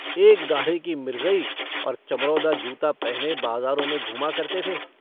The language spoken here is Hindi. एक गाढ़े की मिर्जई और चमरौधा जूता पहने बाजारों में घूमा करते थे।